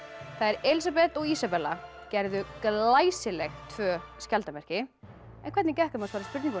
þær Elísabet og Ísabella gerðu glæsileg tvö skjaldarmerki en hvernig gekk þeim að svara spurningunum